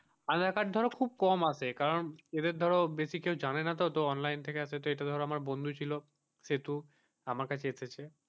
আধার card ধরো খুব কম আসে এবার ধরো বেশি কেউ জানে না তো অনলাইন থেকে ধরো আমার বন্ধু ছিল সেহেতু আমার কাছে এসেছে,